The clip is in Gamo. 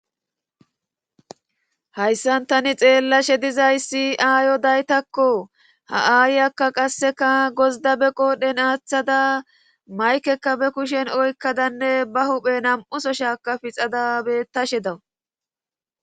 hayssan tani xeellashe dizay si7aayo daytakko ha7aayiyakka qasseka gozda beqo dhen aaththada maykekka be kushen oykkadanne ba huphe nam7uso shaaka pixada bettashe dawu